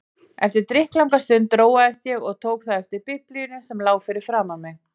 Eftir drykklanga stund róaðist ég og tók þá eftir Biblíunni sem lá fyrir framan mig.